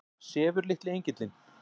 Sefur litli engillinn?